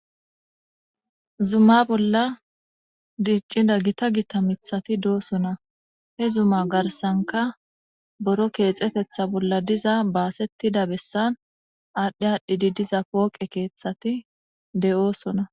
Zumma bolla diiccida gita gita mithati doosona he zumma garsanka boro keexetetha bolla diza baasettida bessan aadhdhi aadhdhi didiza pooqe keeththati de'oosona